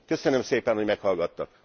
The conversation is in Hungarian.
Köszönöm szépen, hogy meghallgattak.